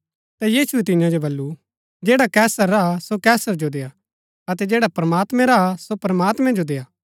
ता यीशुऐ तियां जो वलु जैडा कैसर रा हा सो कैसर जो देआ अतै जैडा प्रमात्मैं रा हा सो प्रमात्मैं जो देआ